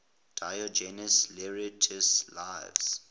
diogenes laertius's lives